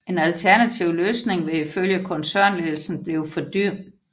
En alternativ løsning vil i følge koncernledelsen blive for dyr